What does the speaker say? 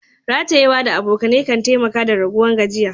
Ratayewa da abokane kan taimaka da raguwan gajiya.